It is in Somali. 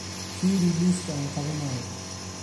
Fiiri liiska aan qabanayo